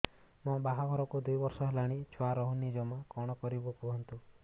ମୋ ବାହାଘରକୁ ଦୁଇ ବର୍ଷ ହେଲାଣି ଛୁଆ ରହୁନି ଜମା କଣ କରିବୁ କୁହନ୍ତୁ